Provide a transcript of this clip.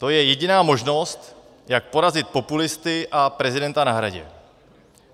To je jediná možnost, jak porazit populisty a prezidenta na Hradě.